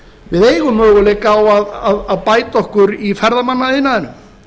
við eigum möguleika á að bæta okkur í ferðamannaiðnaðinum